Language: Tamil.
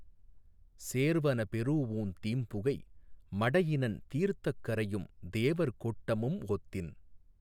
சேர்வன பெறூஉந் தீம்புகை மடையினன் தீர்த்தக் கரையும் தேவர் கோட்டமும் ஒத்தின்